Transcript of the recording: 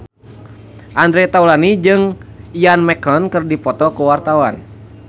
Andre Taulany jeung Ian McKellen keur dipoto ku wartawan